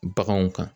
Baganw kan